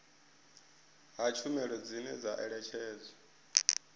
ha tshumelo dzine dza ṋetshedzwa